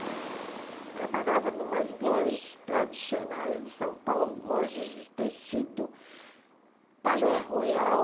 trabalhava numas lojas tradicionais de São Paulo, lojas de tecido Palais Royal,